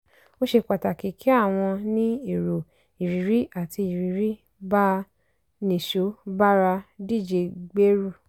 ó ṣe pàtàkì kí àwọn ní èrò ìrírí àti ìrírí bá a nìṣó bára díje gbèrú.